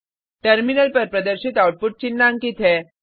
terminal पर प्रदर्शित output चिन्हांकित है